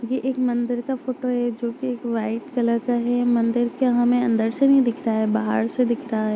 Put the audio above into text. यह एक मंदिर का फोटो है जो कि वाइट कलर का है मंदिर यह हमें अंदर से नहीं दिखता है बाहर से दिखता है।